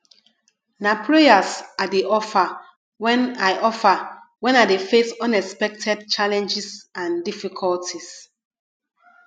na prayers i dey offer when i offer when i dey face unexpected challenges and difficulties